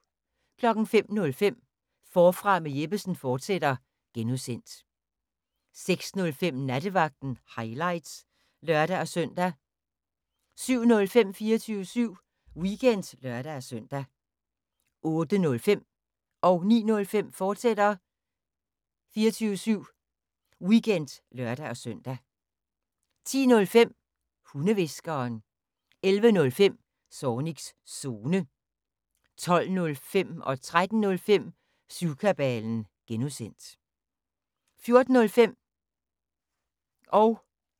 05:05: Forfra med Jeppesen fortsat (G) 06:05: Nattevagten – highlights (lør-søn) 07:05: 24syv Weekend (lør-søn) 08:05: 24syv Weekend, fortsat (lør-søn) 09:05: 24syv Weekend, fortsat (lør-søn) 10:05: Hundehviskeren 11:05: Zornigs Zone 12:05: Syvkabalen (G) 13:05: Syvkabalen (G) 14:05: Bæltestedet – highlights